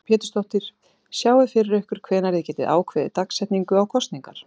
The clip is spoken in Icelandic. Lillý Valgerður Pétursdóttir: Sjáiði fyrir ykkur hvenær þið getið ákveðið dagsetningu á kosningarnar?